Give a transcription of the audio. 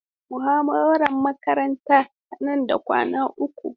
Muhawarar makaranta ta nan da kwana uku.